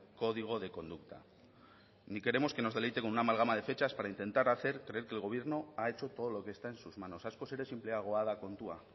código de conducta ni queremos que nos deleite con una amalgama de fechas para intentar hacer creer que el gobierno ha hecho todo lo que está en sus manos askoz ere sinpleagoa da kontua